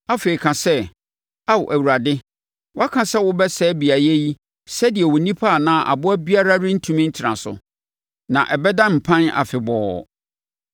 Afei, ka sɛ, ‘Ao Awurade, woaka sɛ wobɛsɛe beaeɛ yi sɛdeɛ onipa anaa aboa biara rentumi ntena so; na ɛbɛda mpan afebɔɔ.’